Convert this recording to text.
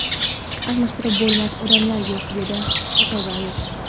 Almashtirib bo‘lmas odamlar yo‘q”, - dedi O‘to‘rbayev.